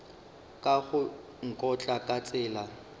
ka go nkotla ka tsela